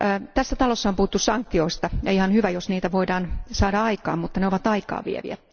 Tässä talossa on puhuttu sanktioista, ja ihan hyvä, jos niitä voidaan saada aikaan, mutta ne ovat aikaa vieviä.